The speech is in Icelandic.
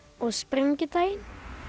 og sprengidaginn